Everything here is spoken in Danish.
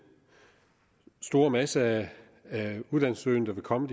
store masse af uddannelsessøgende der vil komme